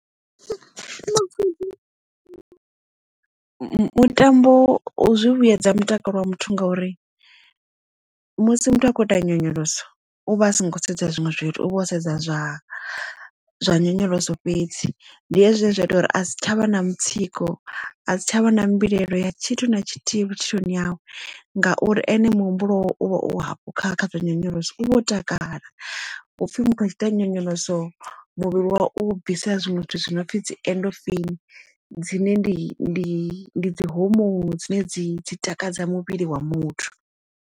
Mutambo zwi vhuedza mutakalo wa muthu ngauri musi muthu a khou ita nyonyoloso u vha a songo sedza zwiṅwe zwithu u vho o sedza zwa zwa nyonyoloso fhedzi ndi hezwi zwine zwa ita uri a si tshavha na mutsiko a si tshavha na mbilaelo ya tshithu na tshithihi vhutshiloni yawe ngauri ene muhumbulo wawe uvha o hafhu kha kha zwa nyonyoloso u vho takala upfhi muthu a tshi ita nyonyoloso muvhili wawe u bvisa zwinwe zwithu zwinopfi dzi endofeini dzine ndi dzi homone dzine dzi dzi takadza muvhili wa muthu.